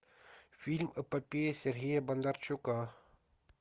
фильм эпопея сергея бондарчука